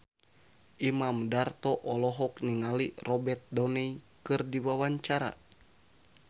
Imam Darto olohok ningali Robert Downey keur diwawancara